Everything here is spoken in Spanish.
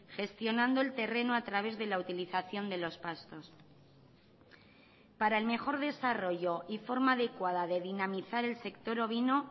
gestionando el terreno a través de la utilización de los pastos para el mejor desarrollo y forma adecuada de dinamizar el sector ovino